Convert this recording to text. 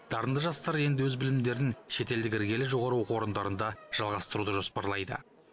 дарынды жастар енді өз білімдерін шетелдік іргелі жоғары оқу орындарында жалғастыруды жоспарлайды